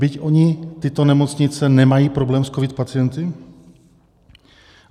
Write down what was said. Byť oni, tyto nemocnice nemají problém s covid pacienty?